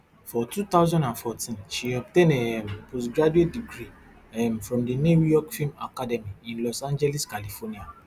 for two thousand and fourteen she obtain a um post graduate degree um from di new york film academy in los angeles california